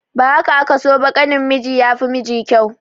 Ba haka aka so ba, ƙanin miji ya fi miji kyau.